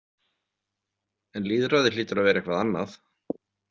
En lýðræði hlýtur að vera eitthvað annað.